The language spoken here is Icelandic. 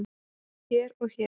hér og hér